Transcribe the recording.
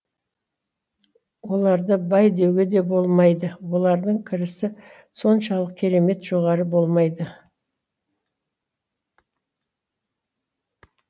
оларды бай деуге де болмайды олардың кірісі соншалық керемет жоғары болмайды